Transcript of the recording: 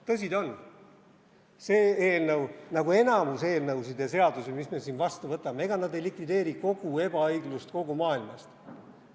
Tõsi ta on, see eelnõu, nagu enamik eelnõusid ja seadusi, mis me siin vastu võtame, ei likvideeri kogu ebaõiglust kogu maailmast.